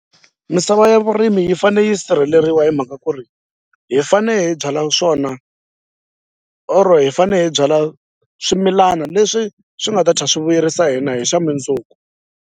Misava ya vurimi yi fane yi sirheleriwa hi mhaka ku ri hi fane hi byala swona or hi fane hi byala swimilana leswi swi nga ta swi vuyerisa hina hi xa .